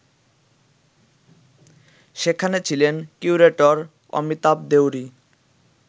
যেখানে ছিলেন কিউরেটর অমিতাভ দেউরী